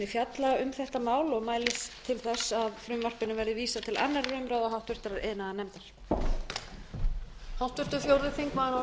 fjalla um þetta mál og mælist til þess að frumvarpinu verði vísað til annarrar umræðu og háttvirtur iðnaðarnefndar